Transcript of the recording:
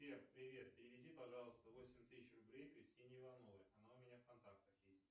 сбер привет переведи пожалуйста восемь тысяч рублей кристине ивановой она у меня в контактах есть